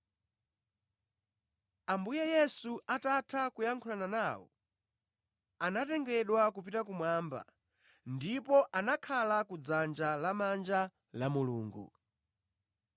Ambuye Yesu atatha kuyankhulana nawo, anatengedwa kupita kumwamba ndipo anakhala kudzanja lamanja la Mulungu.